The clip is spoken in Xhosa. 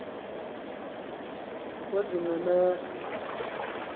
oozincemera